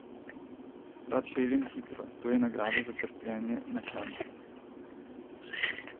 Rad peljem hitro, to je nagrada za trpljenje na klancu.